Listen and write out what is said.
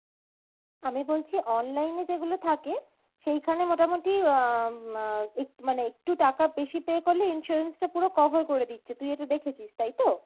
আমি বলছি online এ যেগুলো থাকে সেইখানে মোটামোটি উম আহ এক~ মানে একটু টাকা বেশি pay করলে insurance টা পুরো cover করে দিচ্ছে তুই এটা দেখেছিস তাইতো?